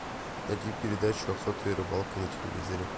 найти передачу охота и рыбалка на телевизоре